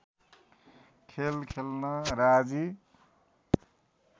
खेल खेल्न राजी